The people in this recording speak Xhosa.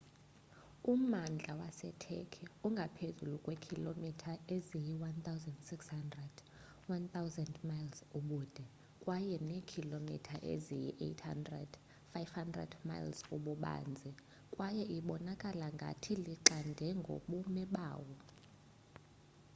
ummandla waseturkey ungaphezu kweekhilomitha eziyi-1600 1,000 mi ubude kunye neekhilomitha eziyi-800 500 mi ububanzi kwaye ibonakala ngathi lixande ngokobume bawo